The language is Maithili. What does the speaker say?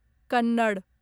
कन्नड़